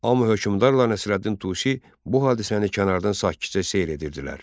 Amma hökmdarla Nəsrəddin Tusi bu hadisəni kənardan sakitcə seyr edirdilər.